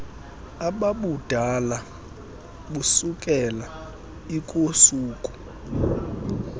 ababudala busukela lkusuku